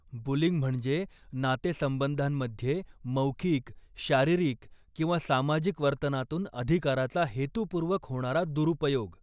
Bullying म्हणजे नातेसंबंधांमध्ये मौखिक, शारीरिक किंवा सामाजिक वर्तनातून अधिकाराचा हेतूपूर्वक होणारा दुरुपयोग.